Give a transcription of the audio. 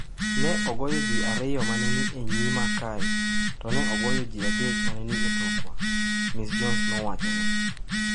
“Ne ogoyo ji ariyo ma ne ni e nyima kae to ne ogoyo ji adek ma ne ni e tokwa,” Ms Jones nowacho ne